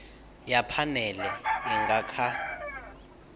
ya phanele i nga kha